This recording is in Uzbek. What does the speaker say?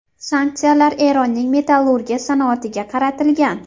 Sanksiyalar Eronning metallurgiya sanoatiga qaratilgan.